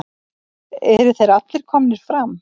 Eru þeir allir komnir fram?